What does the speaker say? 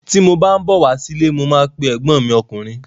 Ti mo bá n bọ wá sí ilé, mo ma pe ẹgbọn mi ọkùnrin.